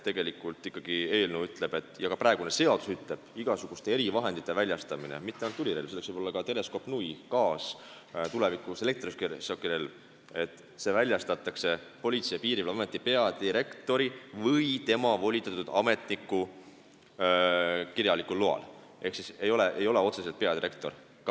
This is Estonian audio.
Tegelikult ikkagi eelnõu ja ka praegune seadus ütlevad, et igasugune erivahend, mitte ainult tulirelv, vaid ka teleskoopnui, gaasirelv, tulevikus elektrišokirelv, väljastatakse Politsei- ja Piirivalveameti peadirektori või tema volitatud ametniku kirjalikul loal, ehk otseselt ei ole kirjas ainult peadirektor.